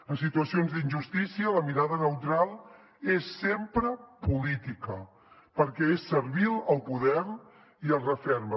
en situacions d’injustícia la mirada neutral és sempre política perquè és servil al poder i el referma